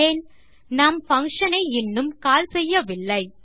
ஏன்நாம் function ஐ இன்னும் call செய்யவில்லை